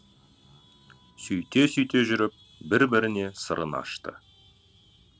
сөйте сөйте жүріп бір біріне сырын ашты